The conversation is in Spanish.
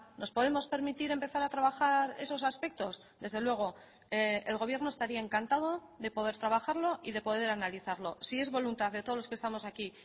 nos podemos permitir empezar a trabajar esos aspectos desde luego el gobierno estaría encantado de poder trabajarlo y de poder analizarlo si es voluntad de todos los que estamos aquí